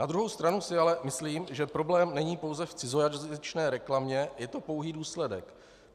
Na druhou stranu si ale myslím, že problém není pouze v cizojazyčné reklamě, je to pouhý důsledek.